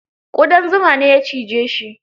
Ƙudan zuma ne ya cije shi.